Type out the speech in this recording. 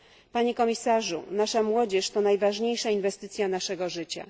Panie komisarzu, nasza młodzież to najważniejsza inwestycja naszego życia.